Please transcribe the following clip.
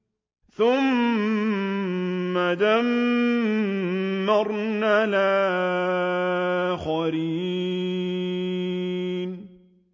ثُمَّ دَمَّرْنَا الْآخَرِينَ